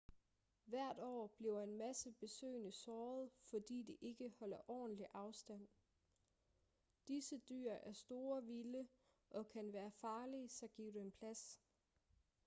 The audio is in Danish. hvert år bliver en masse besøgende såret fordi de ikke holder ordentlig afstand disse dyr er store vilde og kan være farlige så giv dem plads